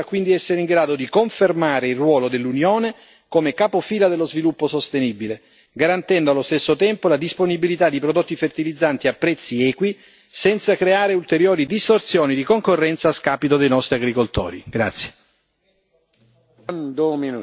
La posizione ambiziosa del Parlamento europeo dovrà quindi essere in grado di confermare il ruolo dell'Unione come capofila dello sviluppo sostenibile, garantendo allo stesso tempo la disponibilità di prodotti fertilizzanti a prezzi equi, senza creare ulteriori distorsioni di concorrenza a scapito dei nostri agricoltori.